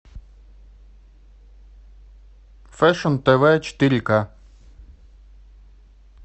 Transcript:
фэшн тв четыре к